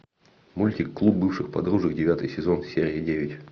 мультик клуб бывших подружек девятый сезон серия девять